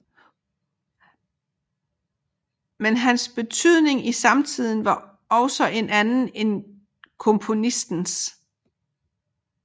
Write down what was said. Men hans betydning i samtiden var også en anden end komponistens